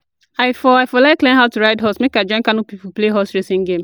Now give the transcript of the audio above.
I for I for like learn how to ride horse, make I join Kano people play horse racing game